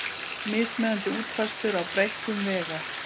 Mismunandi útfærslur á breikkun vega